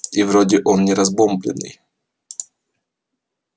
и вроде он не разбомблённый